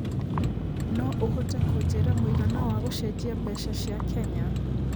no ũhote kũnjĩira mũigana wa gũcenjia mbeca cia kenya